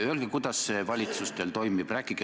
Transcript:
Öelge, kuidas see valitsus teil toimib!